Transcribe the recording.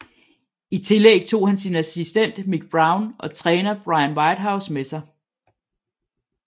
I tillæg tog han sin assistent Mick Brown og træner Brian Whitehouse med sig